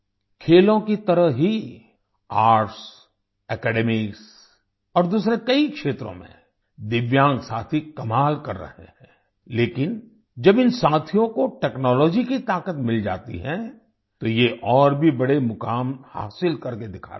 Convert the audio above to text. खेलों की तरह ही आर्ट्स एकेडमिक्स और दूसरे कई क्षेत्रों में दिव्यांग साथी कमाल कर रहे हैं लेकिन जब इन साथियों को टेक्नोलॉजी की ताकत मिल जाती है तो ये और भी बड़े मुकाम हासिल करके दिखाते हैं